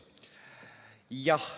Jah.